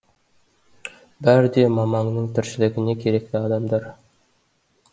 бәрі де мамаңның тіршілігіне керекті адамдар